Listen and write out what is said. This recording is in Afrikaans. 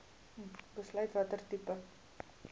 besluit watter tipe